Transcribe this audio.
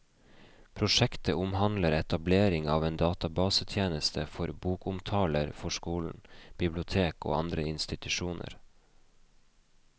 Prosjektet omhandler etablering av en databasetjeneste for bokomtaler for skoler, bibliotek og andre institusjoner.